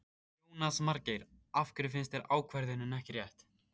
Jónas Margeir: Af hverju finnst þér ákvörðunin ekki rétt?